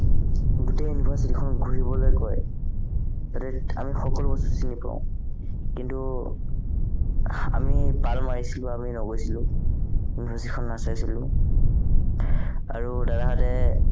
গোটেই university খন ঘূৰিবলে কয় যাতে আমি সকলো বস্তু চিনি পাও কিন্তু আমি পাল মাৰিছিলো আমি নগৈছিলো university খন নাচাইছিলো আৰু দাদাহঁতে